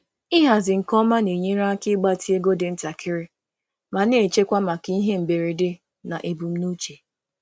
Ịhazi nke ọma na-enyere aka ịgbatị ego dị ntakịrị ma na-echekwa maka ihe mberede na mberede na ebumnuche.